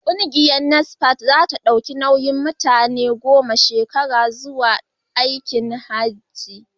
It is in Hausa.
Kungiyar Nasfat za ta dauki nauyin mutane goma zuwa aikin Hajji a shekara mai zuwa.